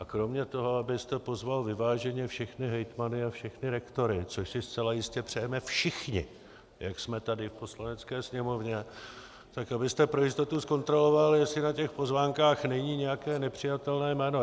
A kromě toho, abyste pozval vyváženě všechny hejtmany a všechny rektory, což si zcela jistě přejeme všichni, jak jsme tady v Poslanecké sněmovně, tak abyste pro jistotu zkontroloval, jestli na těch pozvánkách není nějaké nepřijatelné jméno.